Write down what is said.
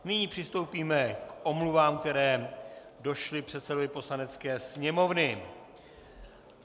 Nyní přistoupíme k omluvám, které došly předsedovi Poslanecké sněmovny.